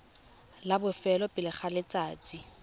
la bofelo pele ga letsatsi